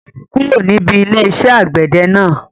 Mo ti kúrò níbi ilé iṣẹ́ àgbẹ̀dẹ náà